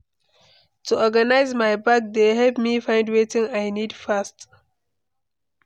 To organize my bag dey help me find wetin I need fast.